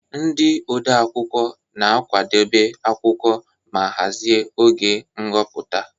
Ndị odeakwụkwọ na-akwadebe akwụkwọ ma hazie oge nhọpụta.